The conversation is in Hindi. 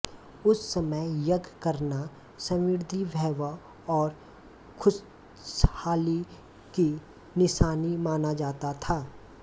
उस समय यज्ञ करना समृद्धि वैभव और खुशहाली की निशानी माना जाता था